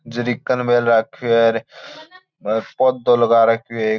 जरीकन मेळ राखो है और पौधों लगा रखो है एक --